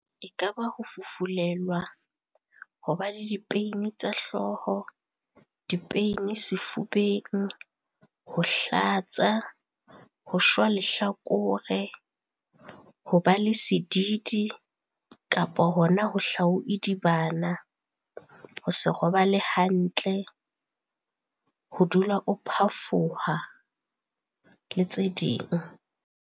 E ka ba ho fufulelwa, hwa ba le di-pain tsa hlooho, di-pain sefubeng, ho hlatsa, ho shwa lehlakore, ho ba le sedidi kapa hona ho o idibana, ho se robale hantle, ho dula o phafoha le tse ding.